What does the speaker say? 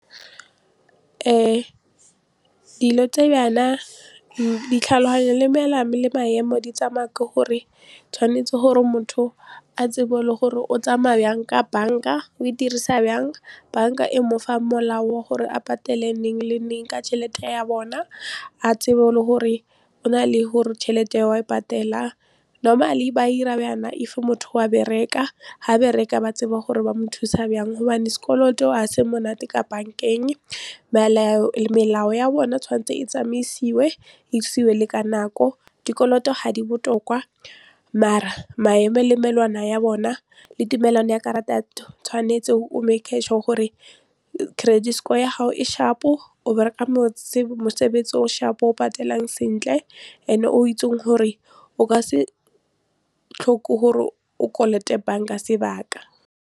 Dilo tse bjana ditlhaloganyo le melao le maemo di tsamaya ke gore tshwanetse gore motho a tsebe gore o tsamaya yang ka bank-a, o e dirisa yang bank-a e mofa molao wa gore a patele neng le neng ka tšhelete ya bona a tsebe le gore go na le gore tšhelete wa e patela normally ba 'ira bjana if motho wa bereka ha bereka ba tseba gore ba mo thusa byang gobane sekoloto a se monate ka bank-eng, melao ya bona tshwanetse e tsamaisiwe e isiwe le ka nako. Dikoloto ga di botoka mare maemo le melawana ya bona le tumelano ya karata ya tshwanetse o make-e sure gore credit score ya gago e sharp-o o bereka mosebetsi o sharp-o o patelang sentle and-e o itsing gore o ka se tlhoke gore o kolote bank-a sebaka.